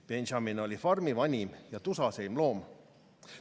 Benjamin oli farmi vanim ja tusaseim loom.